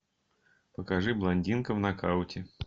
покажи блондинка в нокауте